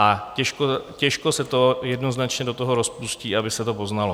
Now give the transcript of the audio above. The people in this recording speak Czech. A těžko se to jednoznačně do toho rozpustí, aby se to poznalo.